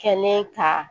Kɛ ne ka